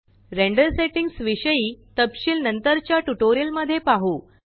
render settings विषयी तपशिल नंतरच्या ट्यूटोरियल मध्ये पाहु